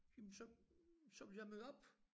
Jamen så så ville jeg møde op